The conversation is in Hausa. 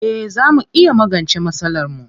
Eh zaa mu iya magance masalarmu.